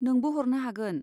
नोंबो हरनो हागोन।